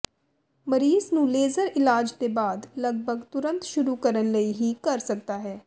ਮਰੀਜ਼ ਨੂੰ ਲੇਜ਼ਰ ਇਲਾਜ ਦੇ ਬਾਅਦ ਲਗਭਗ ਤੁਰੰਤ ਸ਼ੁਰੂ ਕਰਨ ਲਈ ਹੀ ਕਰ ਸਕਦਾ ਹੈ